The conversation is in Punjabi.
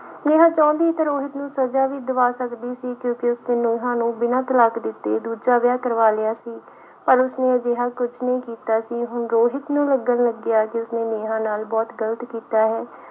ਨੇਹਾਂ ਚਾਹੁੰਦੀ ਤਾਂ ਰੋਹਿਤ ਨੂੰ ਸਜਾ ਵੀ ਦਿਵਾ ਸਕਦੀ ਸੀ ਕਿਉਂਕਿ ਉਸਨੇ ਨੇਹਾਂ ਨੂੰ ਬਿਨਾਂ ਤਲਾਕ ਦਿੱਤੇ ਦੂਜਾ ਵਿਆਹ ਕਰਵਾ ਲਿਆ ਸੀ ਪਰ ਉਸਨੇ ਅਜਿਹਾ ਕੁੱਝ ਨਹੀਂ ਕੀਤਾ ਸੀ ਹੁਣ ਰੋਹਿਤ ਨੂੰ ਲੱਗਣ ਲੱਗਿਆ ਕਿ ਉਸਨੇ ਨੇਹਾਂ ਨਾਲ ਬਹੁਤ ਗ਼ਲਤ ਕੀਤਾ ਹੈ।